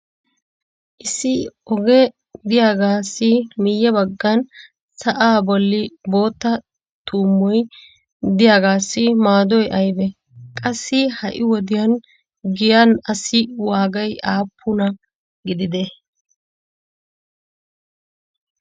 issi ogee diyaagassi miye bagan sa"aa boli bootta tuummoy diyaagaasi maadoy aybee? qassi ha'i wodiyan giyan assi waagay aapinaa gididee?